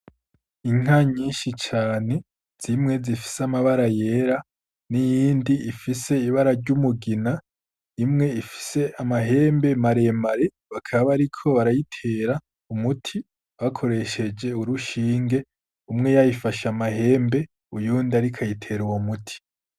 Inka nyinshi cane, zimwe zifise amabara yera n’iyindi ifise ibara ry’umugina, imwe ifise amahembe mare mare bakaba bariko barayitera umuti bakoresheje urushinge, umwe yayifashe amahembe uyundi ariko ayitera uwo muti.